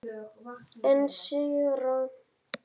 En séra